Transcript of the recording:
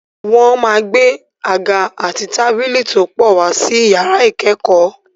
Wọ́n máa gbé àga àti tábìlì tó pọ̀ wá sí yàrá ìkẹ́kọ̀ọ́.